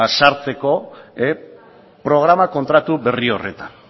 sartzeko programa kontratu berri horretan